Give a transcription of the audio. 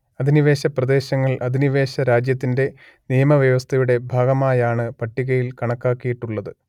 അധിനിവേശപ്രദേശങ്ങൾ അധിനിവേശരാജ്യത്തിന്റെ നിയമവ്യവസ്ഥയുടെ ഭാഗമായാണ് പട്ടികയിൽ കണക്കാക്കിയിട്ടുള്ളത്